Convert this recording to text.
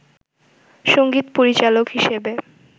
সংগীত পরিচালক হিসেবে